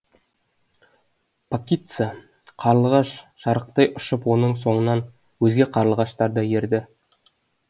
пакица қарлығаш шарықтай ұшып оның соңынан өзге қарлығаштар да ерді